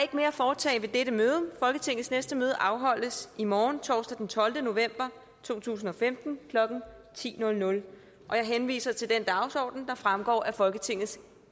ikke mere at foretage i dette møde folketingets næste møde afholdes i morgen torsdag den tolvte november to tusind og femten klokken ti jeg henviser til den dagsorden der fremgår af folketingets